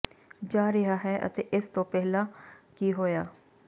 ਜਾ ਰਿਹਾ ਹੈ ਅਤੇ ਇਸ ਤੋਂ ਪਹਿਲਾਂ ਕੀ ਹੋਇਆ